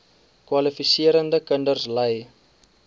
kwalifiserende kinders ly